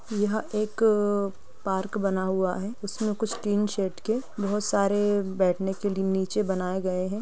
यह एक पार्क बना हुआ है। उसमें कुछ टीन शेड के बहोत सारे बैठने के लिए नीचे बनाए गए हैं।